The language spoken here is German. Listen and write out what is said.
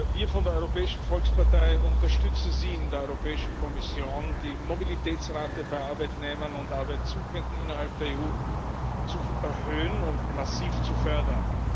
Wir von der Europäischen Volkspartei unterstützen Sie in der Europäischen Kommission in Ihrem Anliegen, die Mobilitätsrate bei Arbeitnehmern und Arbeitsuchenden innerhalb der EU zu erhöhen und massiv zu fördern.